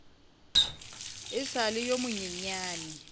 e sa le yo monyenyane